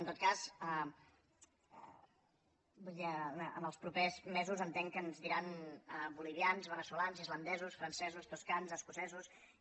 en tot cas vull dir en els propers mesos entenc que ens diran bolivians ve·neçolans islandesos francesos toscans escocesos i